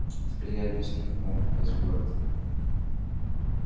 а теперь я объясню как вам попасть в город